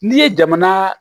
N'i ye jamana